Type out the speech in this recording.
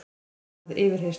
Það varð yfirheyrsla.